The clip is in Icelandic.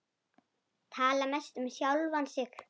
Tala mest um sjálfan sig.